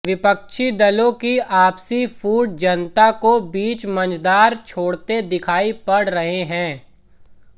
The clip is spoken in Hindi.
विपक्षी दलों की आपसी फूट जनता को बीच मंझधार छोड़ते दिखाई पड़ रहे हैं